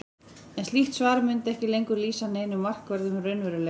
en slíkt svar mundi ekki lengur lýsa neinum markverðum raunveruleika